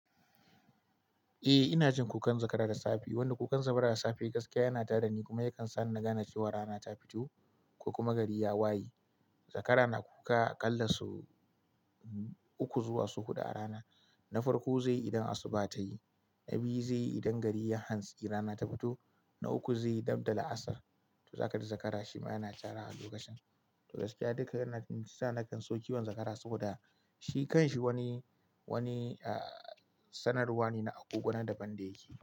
Eh ina jin kukan zakara da safe. Wanda kukan zakara da safe gaskiya yana ta da ni kuma yakan sa ni na gane cewa rana ta fito ko kuma gari ya waye. Zakara na kuka aƙalla sau uku zuwa sau huɗu a rana. Na farko zai yi idan asuba ta yi, na biyu zai yi idan gari ya hanso rana ta fito, na uku zai yi dabda la'asar. To zakari zakara shi ma yana cara lokacin. To gaskiya dukan shiyasa nakan so kiwon zakara saboda shi kanshi wani, wani, sanarwa ne na agogona da ban da yake.